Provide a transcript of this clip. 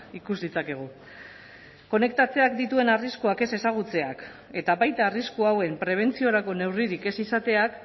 ikus ditzakegu konektatzeak dituen arriskuak ez ezagutzeak eta baita arrisku hauen prebentziorako neurririk ez izateak